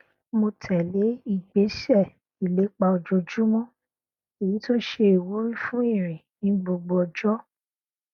mo tẹlé ìgbésẹ ìlépa ojoojúmọ èyí tó ṣe ìwúrí fún ìrìn ní gbogbo ọjọ